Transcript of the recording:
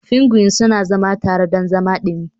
Pingwin suna zama tare don zama dumi.